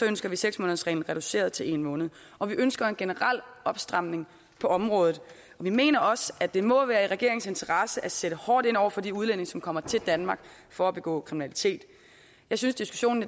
ønsker vi seks månedersreglen reduceret til en måned og vi ønsker en generel opstramning på området vi mener også at det må være i regeringens interesse at sætte hårdt ind over for de udlændinge som kommer til danmark for at begå kriminalitet jeg synes diskussionen